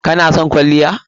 Kana son kwalliya?